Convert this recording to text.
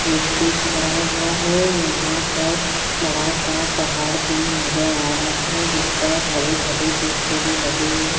व्यक्ति खड़ा हुआ है यहां पर बड़ा सा पहाड़ भी नज़र आ रहा है जिस पर हरे भरे पेड़ पौधे लगे है।